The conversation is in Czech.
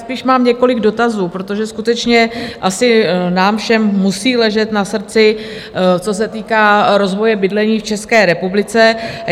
Spíš mám několik dotazů, protože skutečně asi nám všem musí ležet na srdci, co se týká rozvoje bydlení v České republice.